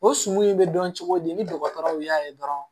O sumun in bɛ dɔn cogo di ni dɔgɔtɔrɔw y'a ye dɔrɔn